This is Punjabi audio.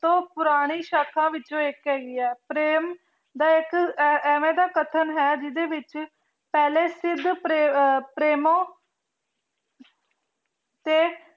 ਤੋਂ ਪੁਰਾਨੀ ਸ਼ਾਖਾਂ ਵਿਚੋ ਏਇਕ ਹੇਗੀ ਆਯ ਪ੍ਰੇਮ ਦਾ ਇਕ ਇਵੇਂ ਦਾ ਕਥਨ ਹੈ ਜਿਡੇ ਵਿਚ ਪਹਲੇ ਸਿਧ ਪ੍ਰੇਮੋ ਤੇ